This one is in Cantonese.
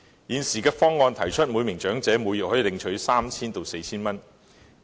現時有建議，每名長者每月可領取 3,000 元至 4,000 元。